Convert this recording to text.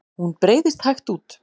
Hún breiðst hægt út.